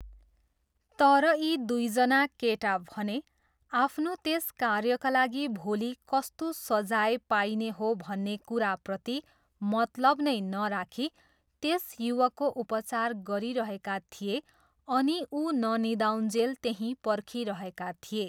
तर यी दुईजना केटा भने आफ्नो त्यस कार्यका लागि भोलि कस्तो सजाय पाइने हो भन्ने कुराप्रति मतलब नै नराखी त्यस युवकको उपचार गरिरहेका थिए अनि ऊ ननिदाउन्जेल त्यहीँ पर्खिरहेका थिए।